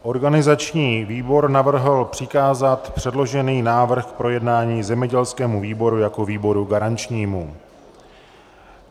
Organizační výbor navrhl přikázat předložený návrh k projednání zemědělskému výboru jako výboru garančnímu.